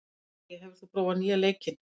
Dalía, hefur þú prófað nýja leikinn?